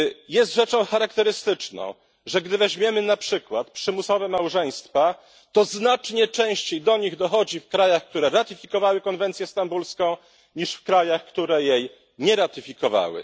Jest rzeczą charakterystyczną, że gdy weźmiemy na przykład przymusowe małżeństwa, to znacznie częściej do nich dochodzi w krajach, które ratyfikowały konwencję stambulską, niż w krajach, które jej nie ratyfikowały.